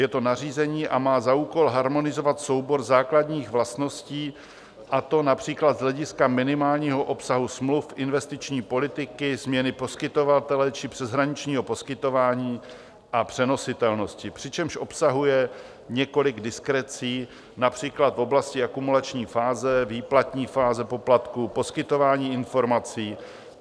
Je to nařízení a má za úkol harmonizovat soubor základních vlastností, a to například z hlediska minimálního obsahu smluv investiční politiky, změny poskytovatele či přeshraničního poskytování a přenositelnosti, přičemž obsahuje několik diskrecí, například v oblasti akumulační fáze, výplatní fáze poplatku, poskytování informací.